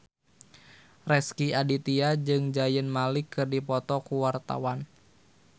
Rezky Aditya jeung Zayn Malik keur dipoto ku wartawan